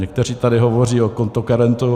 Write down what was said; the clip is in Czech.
Někteří tady hovoří o kontokorentu.